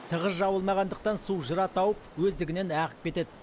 тығыз жабылмағандықтан су жыра тауып өздігінен ағып кетеді